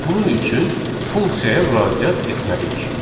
Bunun üçün funksiyaya müraciət etməliyik.